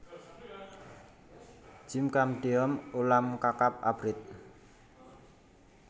Jjim chamdeom ulam kakap abrit